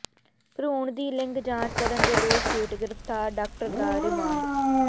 ਭਰੂਣ ਦੀ ਲਿੰਗ ਜਾਂਚ ਕਰਨ ਦੇ ਦੋਸ਼ ਹੇਠ ਗ੍ਰਿਫ਼ਤਾਰ ਡਾਕਟਰ ਦਾ ਰਿਮਾਂਡ